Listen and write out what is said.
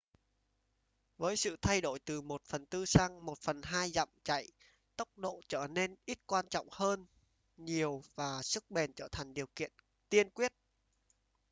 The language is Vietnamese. với sự thay đổi từ 1/4 sang 1/2 dặm chạy tốc độ trở nên ít quan trọng hơn nhiều và sức bền trở thành điều kiện tiên quyết